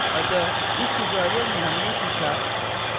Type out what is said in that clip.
अतः इस tutorial में हमने सीखा